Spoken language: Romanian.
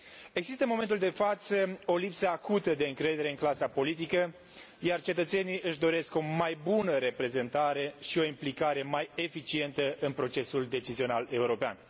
Există, în momentul de față, o lipsă acută de încredere în clasa politică, iar cetățenii își doresc o mai bună reprezentare și o implicare mai eficientă în procesul decizional european.